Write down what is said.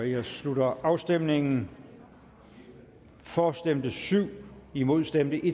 jeg slutter afstemningen for stemte syv imod stemte